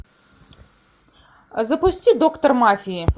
запусти доктор мафии